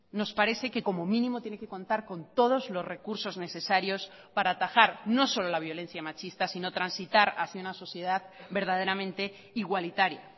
nos parece que como mínimo tiene que contar con todos los recursos necesarios para atajar no solo la violencia machista sino transitar hacia una sociedad verdaderamente igualitaria